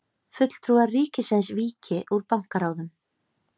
Fulltrúar ríkisins víki úr bankaráðum